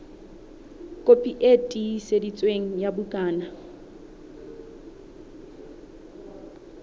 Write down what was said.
kopi e tiiseditsweng ya bukana